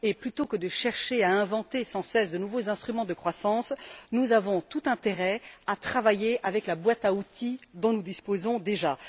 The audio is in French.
Plutôt que de chercher à inventer sans cesse de nouveaux instruments de croissance, nous avons tout intérêt à travailler avec la boîte à outils dont nous disposons déjà.